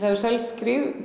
hefur selst